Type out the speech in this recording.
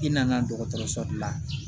I nana dɔgɔtɔrɔso dilan